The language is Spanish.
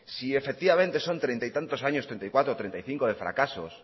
si efectivamente son treinta y tantos años treinta y cuatro treinta y cinco de fracasos